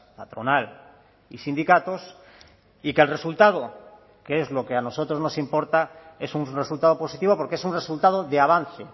patronal y sindicatos y que el resultado que es lo que a nosotros nos importa es un resultado positivo porque es un resultado de avance